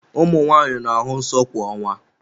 Ụmụ nwanyị na-ahụ nsọ kwa ọnwa.